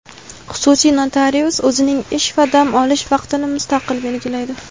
Xususiy notarius o‘zining ish va dam olish vaqtini mustaqil belgilaydi.